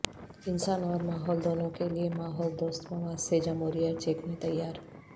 انسانوں اور ماحول دونوں کے لیے ماحول دوست مواد سے جمہوریہ چیک میں تیار